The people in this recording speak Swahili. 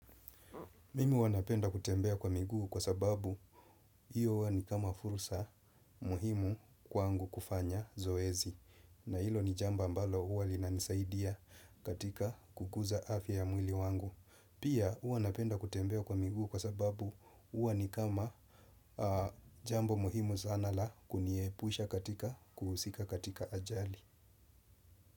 Mimi huwa napenda kutembea kwa miguu kwa sababu hiyo huwa ni kama fursa muhimu kwangu kufanya zoezi. Na hilo ni jambo ambalo huwa linanisaidia katika kukuza afya ya mwili wangu. Pia huwa napenda kutembea kwa miguu kwa sababu huwa ni kama jambo muhimu sana la kuniepusha katika kuhusika katika ajali.